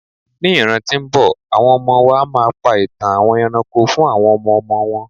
ní ràn ti o nbọ, awọn ọmọ wa ma pa itan àwọn eranko fún àwọn ọmọ ọmọ wọn